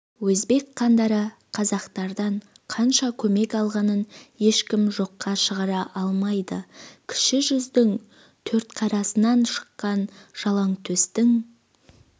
өзбек хандары қазақтардан қанша көмек алғанын ешкім жоққа шығара алмайды кіші жүздің төртқарасынан шыққан жалаңтөстің